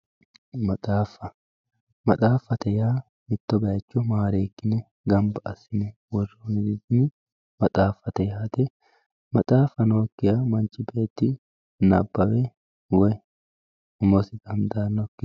maxaaffa maxaaffate yaa mitto bayiicho maareekkine gamba assine worroonite maxaaffate yaate maxaaffa nookkiha manchi beetti nabbawe woyi umosi dandaannokkiho.